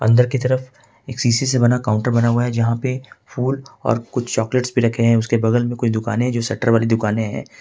अंदर कि तरफ एक शीशे से बना काउंटर बना हुआ है जहां पे फूल और कुछ चॉकलेट्स भी रखे हैं उसके बगल में कुछ दुकानें हैं जो शटर वाली दुकान हैं।